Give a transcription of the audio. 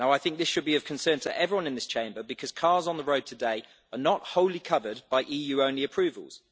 This should be of concern to everyone in this Chamber, because cars on the road today are not wholly covered by EU only approvals.